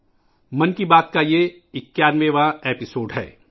یہ 'من کی بات 'کی 91ویں کڑی ہے